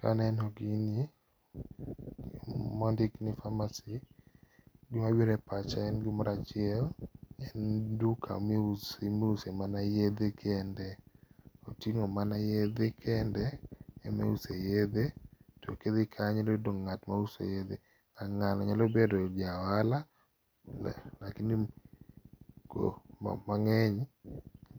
Kaneno gini mondik ni pharmacy to gima biro e pacha, gima biro e pacha en gimoro achiel, en duka miuse mana yedhe kende. Oting'o mana yedhe kende emiuse yedhe to ka idhi kanyo to idhi yudo ng'at mauso yedhe. Ng'ano nyalo bedo ja ohala, mang'eny